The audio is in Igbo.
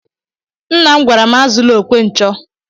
Nnam gwara m azula okwe nchọ.